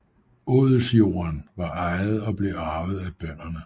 Odelsjorden var ejet og blev arvet af bønderne